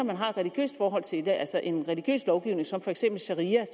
man har et religiøst forhold til det altså en religiøs lovgivning som for eksempel sharia